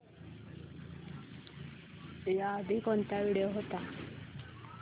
याआधी कोणता व्हिडिओ होता